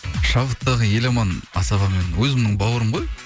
шабыттағы еламан асаба өзімнің бауырым ғой